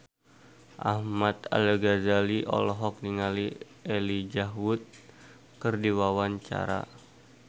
Ahmad Al-Ghazali olohok ningali Elijah Wood keur diwawancara